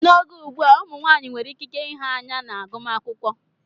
N'oge ugbu a, ụmụ nwanyị nwere ikike nha anya na agụmakwụkwọ.